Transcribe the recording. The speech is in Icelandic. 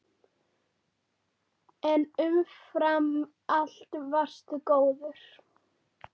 En umfram allt varstu góður.